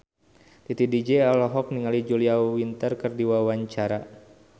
Titi DJ olohok ningali Julia Winter keur diwawancara